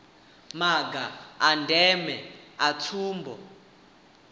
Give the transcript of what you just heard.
maga a ndeme a tsumbo